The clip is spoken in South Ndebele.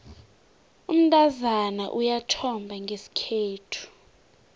umntazana uyathomba ngesikhethu